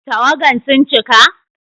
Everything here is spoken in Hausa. Tawagan sun cika?